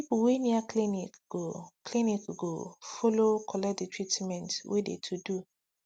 people wey near clinic go clinic go follow collect de treatment wey de to do